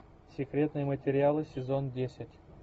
секретные материалы сезон десять